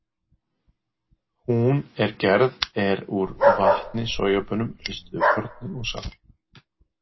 Hún er gerð er úr vatni, sojabaunum, ristuðu korni og salti.